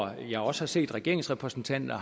jeg har også set regeringens repræsentanter